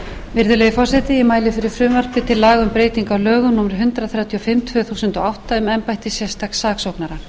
til laga um breytingu á lögum númer hundrað þrjátíu og fimm tvö þúsund og átta um embætti sérstaks saksóknara með frumvarpinu er